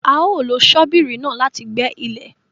A o lo ṣobírì náà láti gbẹ̀ ilẹ